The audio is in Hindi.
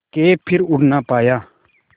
के फिर उड़ ना पाया